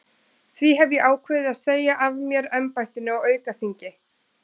Því hef ég ákveðið að segja af mér embættinu á aukaþingi.